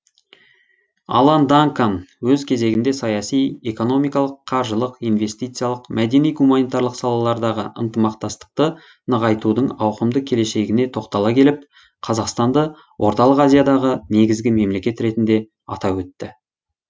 алан данкан өз кезегінде саяси экономикалық қаржылық инвестициялық мәдени гуманитарлық салалардағы ынтымақтастықты нығайтудың ауқымды келешегіне тоқтала келіп қазақстанды орталық азиядағы негізгі мемлекет ретінде атап өтті